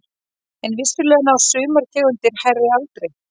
En vissulega ná sumar tegundir hærri aldri.